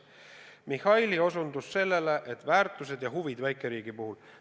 Mihhail osutas väärtustele ja huvidele väikeriigi puhul.